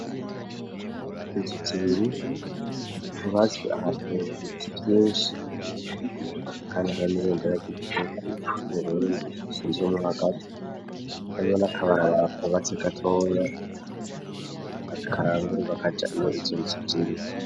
Izuzi ibibi tubazwe aha mubiti vy'inso kani aranirunderako ikihugu c'uburundi sinzwamu hagati yamwo n'akabarabara kubatse gatoya akarangui bakaja imurizozijire.